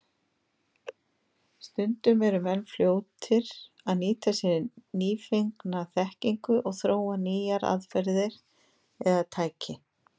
Stundum eru menn fljótir að nýta sér nýfengna þekkingu og þróa nýjar aðferðir eða tæki.